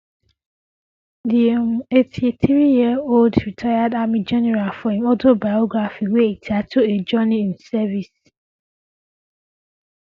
di um eighty three yearold retired army general for im autobiography wey e title a journey in um service